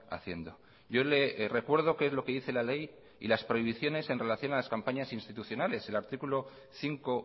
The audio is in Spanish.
haciendo yo le recuerdo qué es lo que dice la ley y las prohibiciones en relación a las campañas institucionales el artículo cinco